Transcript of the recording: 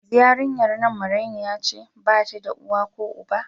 Yanzu yarinyan nan marainiya ce, bata da uwa ko uba.